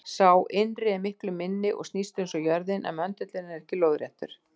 Sá innri er miklu minni og snýst eins og jörðin, en möndullinn er ekki lóðréttur.